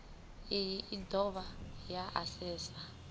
iyi i dovha ya asesa